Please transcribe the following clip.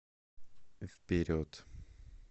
вперед